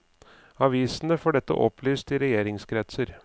Avisen får dette opplyst i regjeringskretser.